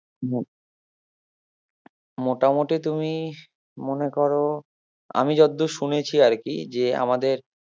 মোটামুটি তুমি মনে করো আমি যতদূর শুনেছি আরকি যে আমাদের